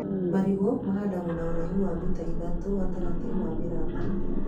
Marigũ mahandagwo na ũraihu wa mita ithatũ gatagatĩ wa mĩramba